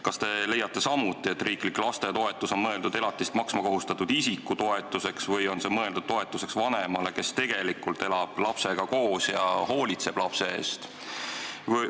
Kas te leiate samuti, et riiklik lastetoetus on mõeldud elatist maksma kohustatud isiku toetuseks, või on see mõeldud toetuseks vanemale, kes tegelikult elab lapsega koos ja hoolitseb lapse eest?